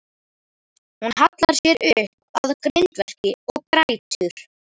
Hún hallar sér upp að grindverki og grætur.